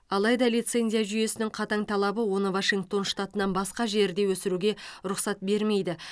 алайда лицензия жүйесінің қатаң талабы оны вашингтон штатынан басқа жерде өсіруге рұқсат бермейді